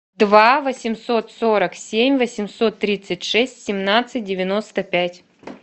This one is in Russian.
два восемьсот сорок семь восемьсот тридцать шесть семнадцать девяносто пять